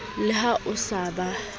le ha o sa ba